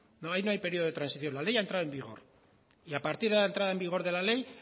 ahí no hay periodo de transición la ley ha entrado en vigor y a partir de la entrada en vigor de la ley